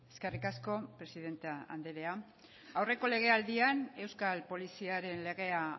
eskerrik asko presidente anderea aurreko legealdian euskal poliziaren legea